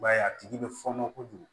I b'a ye a tigi bɛ fɔɔnɔ kojugu